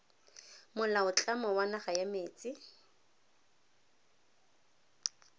molaotlamo wa naga wa metsi